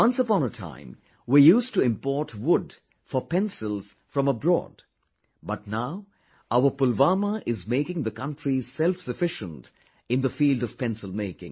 Once upon a time we used to import wood for pencils from abroad, but, now our Pulwama is making the country selfsufficient in the field of pencil making